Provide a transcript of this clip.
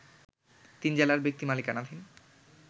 তিন জেলার ব্যক্তি মালিকানাধীন